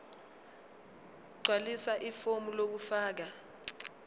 gqwalisa ifomu lokufaka